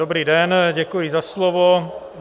Dobrý den, děkuji za slovo.